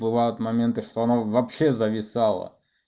бывают моменты что оно вообще зависало